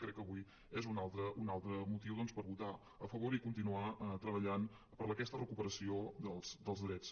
crec que avui és un altre motiu per votar hi a favor i continuar treballant per aquesta recuperació dels drets